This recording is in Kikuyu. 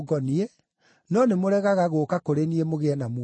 no nĩmũregaga gũũka kũrĩ niĩ mũgĩe na muoyo.